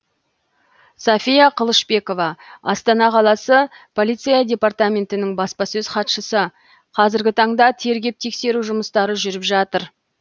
софия қылышбекова астана қаласы полиция департаментінің баспасөз хатшысы қазіргі таңда тергеп тексеру жұмыстары жүріп жатыр